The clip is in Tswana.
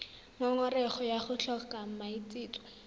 ngongorego ya go tlhoka maitseo